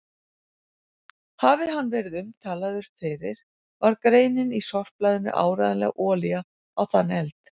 Hafi hann verið umtalaður fyrir var greinin í sorpblaðinu áreiðanleg olía á þann eld.